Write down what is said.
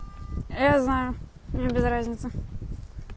я знаю мне без разницы